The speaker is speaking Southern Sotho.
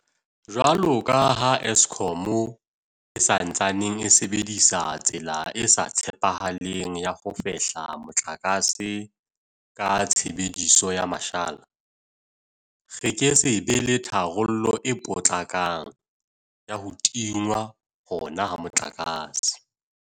Jwalo ka ha Eskom e sa ntsaneng e sebedisa tsela e sa tshepahaleng ya ho fehla motlakase ka tshebediso ya mashala, re ke se be le tharollo e potlakang ya ho tingwa hona ha motlakase.